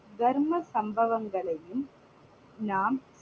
தர்ம சம்பவங்களையும் நாம்